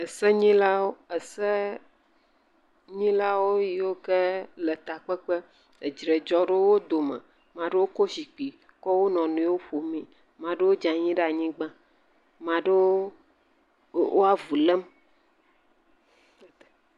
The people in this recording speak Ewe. ese nyilawo ese nyilawo yioke le takpekpe, edre dzɔ le wó dome maɖewo kó zikpi kɔ wó nɔniwo ƒomee maɖewo dzanyi ɖa nyigba maɖewo wó avu lem